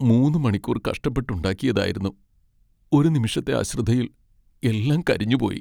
മൂന്ന് മണിക്കൂർ കഷ്ടപ്പെട്ട് ഉണ്ടാക്കിയതായിരുന്നു, ഒരു നിമിഷത്തെ അശ്രദ്ധയിൽ എല്ലാം കരിഞ്ഞുപോയി.